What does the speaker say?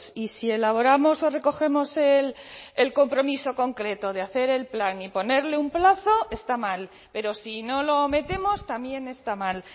y si elaboramos o recogemos el compromiso concreto de hacer el plan y ponerle un plazo está mal pero si no lo metemos también está mal